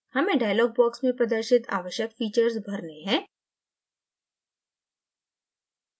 हमें dialog box में प्रदर्शित आवश्यक फीचर्स भरने हैं